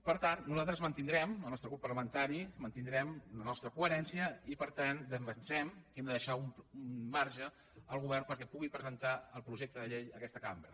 per tant nosaltres mantindrem el nostre grup parla·mentari mantindrem la nostra coherència i per tant defensem que hem de deixar un marge al govern per·què pugui presentar el projecte de llei a aquesta cam·bra